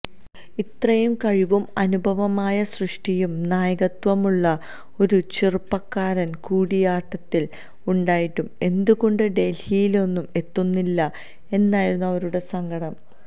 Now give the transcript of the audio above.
ഇത്രയും കഴിവും അനുപമമായ സൃഷ്ടിയും നായകത്വവുമുള്ള ഒരു ചെറുപ്പക്കാരൻ കൂടിയാട്ടത്തിൽ ഉണ്ടായിട്ടും എന്തുകൊണ്ട് ഡൽഹിയിലൊന്നും എത്തുന്നില്ലാ എന്നായിരുന്നു അവരുടെ സങ്കടം